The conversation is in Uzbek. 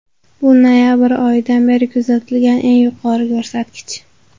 Bu noyabr oyidan beri kuzatilgan eng yuqori ko‘rsatkich.